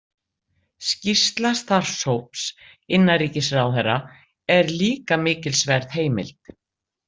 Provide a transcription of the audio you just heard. Skýrsla starfshóps innanríkisráðherra er líka mikilsverð heimild.